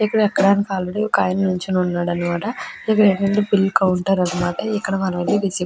ఇక్కడ ఎక్కడానికి ఆల్రెడీ ఒక ఆయన నిల్చొని ఉన్నాడన్నమాట. ఇక్కడేంటంటే బిల్ కౌంటర్ అన్న మాట. ఇక్కడ మనం వెళ్లి రిసిప్ట్ --